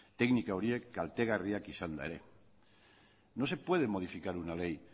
teknika horiek kaltegarriak izanda ere no se puede modificar una ley